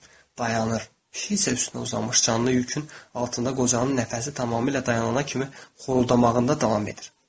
Dayanır, pişik isə üstünə uzanmış canlı yükün altında qocanın nəfəsi tamamilə dayanana kimi xorldamağında davam edir.